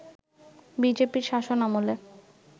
বিজেপির শাসনামলে